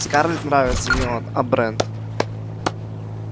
скарлетт нравится не он а брент